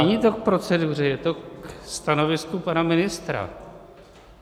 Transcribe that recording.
Není to k proceduře, je to ke stanovisku pana ministra.